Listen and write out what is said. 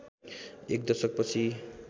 एक दशक पछि